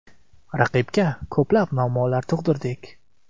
Raqibga ko‘plab muammolar tug‘dirdik.